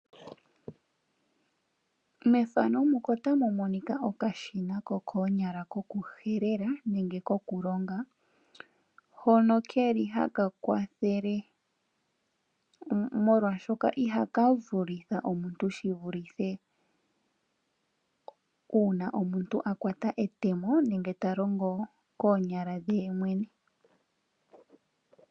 Mefano muka otamu monika okashina kokoonyala koku helela nenge koku longa. Hono keli haka kwathele molwashoka ihaka vulitha omuntu shi vulithe una omuntu a kwata etemo nenge ta longo koonyala dhe yemwene mwene.